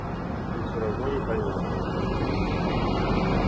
ты всё равно не поймёшь